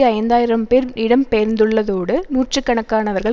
ஐந்தாயிரம் பேர் இடம்பெயர்ந்துள்ளதோடு நூற்று கணக்கானவர்கள்